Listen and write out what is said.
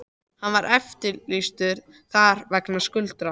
Hann var eftirlýstur þar vegna skulda.